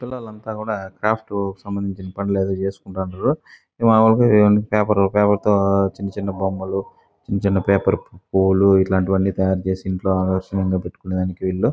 పిల్లలు అంతా కూడా క్రాఫ్ట్ కు సంబందించిన పనులు ఏదో చేసుకొంటున్నారు. అలాగే రెండు పేపర్లు తో చిన్న చిన్న బొమ్మలు చిన్న చిన్న పూలు ఇలాంటివి అన్ని తయారుచేసి ఇంట్లో ఆకర్షిణీయంగా పెట్టుకోవడానికి వీళ్ళు --